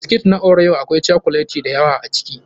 Biscuits na Oreo akwai cokuleti da yawa a ciki.